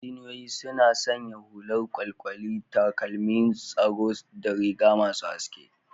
Injiniyoyi suna sanya hular kwalkwali, takalman tsaro da riga masu haske.